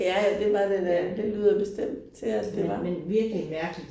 Ja ja det var det da det lyder bestemt til at det var